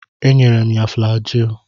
Enyela m ya flajil.